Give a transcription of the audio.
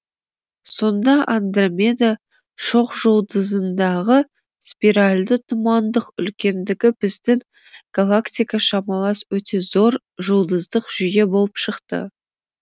сонда андромеда шоқжұлдызындағы спиральды тұмандық үлкендігі біздің галактика шамалас өте зор жұлдыздық жүйе болып шықты